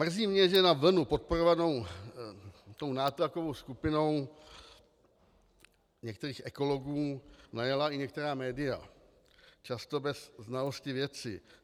Mrzí mě, že na vlnu podporovanou tou nátlakovou skupinou některých ekologů najela i některá média, často bez znalosti věci.